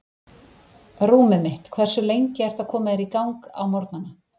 Rúmið mitt Hversu lengi ertu að koma þér í gang á morgnanna?